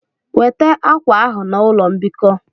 Weta akwa ahụ na ụlọ mbikọ!